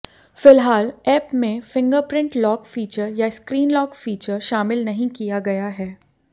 फिलहाल ऐप में fingerprint lock feature या स्क्रीन लॉक फीचर शामिल नहीं किया गया है